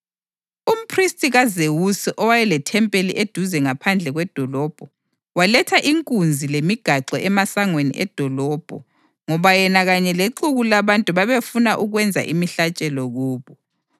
Umphristi kaZewusi owayelethempeli eduze ngaphandle kwedolobho, waletha inkunzi lemigaxo emasangweni edolobho ngoba yena kanye lexuku labantu babefuna ukwenza imihlatshelo kubo.